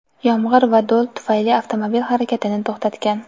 yomg‘ir va do‘l tufayli avtomobil harakatini to‘xtatgan.